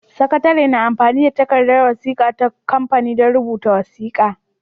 Sakatare na amfani da takardar wasiƙa ta kamfani don rubuta wasiƙa.